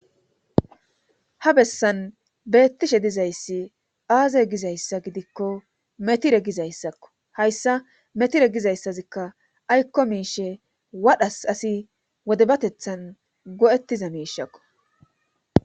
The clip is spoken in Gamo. Ha bessan beetishe dizayssi aaze gizayssa gidikko metire gizayssakko. Hayssa metitre gizaysazikka aykko miishe wadhas asi wodabatetan go'etiza miishakko